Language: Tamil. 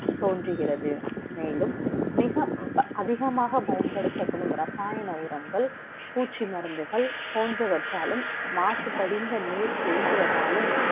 தோன்றுகிறது மேலும் மிக அதிகமாக பயன்படுத்தப்படும் ரசாயன உரங்கள் பூச்சி மருந்துகள் போன்றவற்றாலும் மாசுபடுதல் நீர் தேங்குவதாலும்